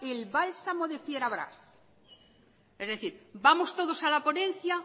el bálsamo de fierabrás es decir vamos todos a la ponencia